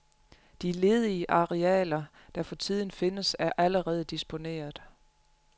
De ledige arealer, der for tiden findes, er allerede disponeret.